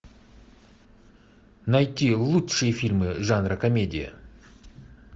найти лучшие фильмы жанра комедия